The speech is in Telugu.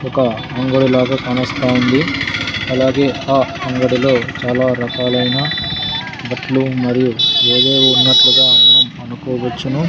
ఒక అంగడి లాగా కానోస్తా ఉంది అలాగే ఆ అంగడిలో చాలా రకాలైన బట్లు మరియు ఏవేవో ఉన్నట్లుగా మనం అనుకోవచ్చును.